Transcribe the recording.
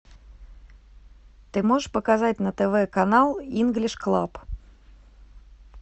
ты можешь показать на тв канал инглиш клаб